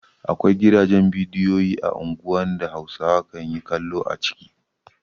Akwai gidajen bidiyo a unguwanni da Hausawa kan yi kallo a ciki.